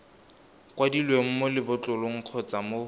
kwadilweng mo lebotlolong kgotsa mo